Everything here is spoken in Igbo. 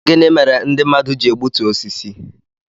Gịnị mere ndị mmadụ ji egbutu osisi